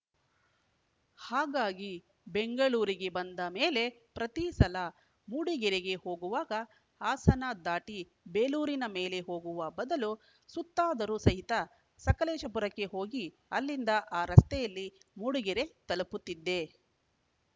ಹಾಗಾಗಿ ಬೆಂಗಳೂರಿಗೆ ಬಂದ ಮೇಲೆ ಪ್ರತೀ ಸಲ ಮೂಡಿಗೆರೆಗೆ ಹೋಗುವಾಗ ಹಾಸನ ದಾಟಿ ಬೇಲೂರಿನ ಮೇಲೆ ಹೋಗುವ ಬದಲು ಸುತ್ತಾದರೂ ಸಹಿತ ಸಕಲೇಶಪುರಕ್ಕೆ ಹೋಗಿ ಅಲ್ಲಿಂದ ಆ ರಸ್ತೆಯಲ್ಲಿ ಮೂಡಿಗೆರೆ ತಲುಪುತ್ತಿದ್ದೆ